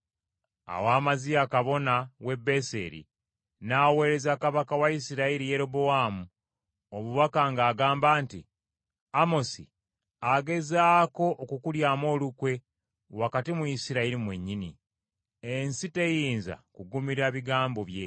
Awo Amaziya kabona w’e Beseri n’aweereza kabaka wa Isirayiri, Yerobowaamu, obubaka ng’agamba nti, “Amosi agezaako okukulyamu olukwe wakati mu Isirayiri mwennyini. Ensi teyinza kugumira bigambo bye.”